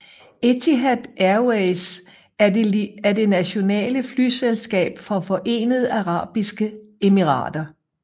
Etihad Airways er det nationale flyselskab fra Forenede Arabiske Emirater